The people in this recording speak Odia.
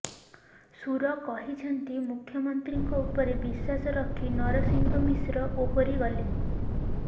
ସୁର କହିଛନ୍ତି ମୁଖ୍ୟମନ୍ତ୍ରୀଙ୍କ ଉପରେ ବିଶ୍ୱାସ ରଖି ନରସିଂହ ମିଶ୍ର ଓହରି ଗଲେ